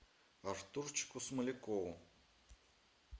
артурчику смолякову